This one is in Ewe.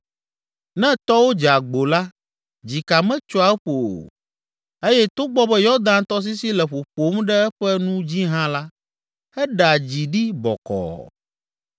Ne tɔwo dze agbo la, dzika metsoa eƒo o eye togbɔ be Yɔdan tɔsisi le ƒoƒom ɖe eƒe nu dzi hã la, eɖea dzi ɖi bɔkɔɔ.